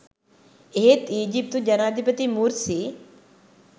එහෙත් ඊජිප්තු ජනාධිපති මුර්සි